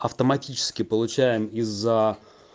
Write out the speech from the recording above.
автоматически получаем из за